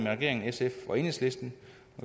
regeringen sf og enhedslisten